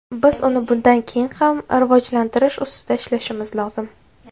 Biz uni bundan keyin ham rivojlantirish ustida ishlashimiz lozim.